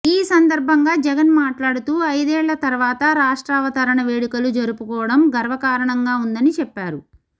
ఈ సందర్భంగా జగన్ మాట్లాడుతూ ఐదేళ్ల తర్వాత రాష్ట్రావతరణ వేడుకలు జరుపుకోవడం గర్వకారణంగా ఉందని చెప్పారు